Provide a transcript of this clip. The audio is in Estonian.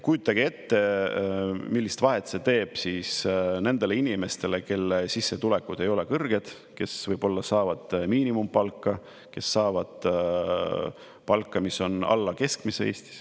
Kujutage ette, millise vahe see teeb siis nendele inimestele, kelle sissetulekud ei ole kõrged, kes saavad miinimumpalka, kes saavad palka, mis on alla keskmise Eestis.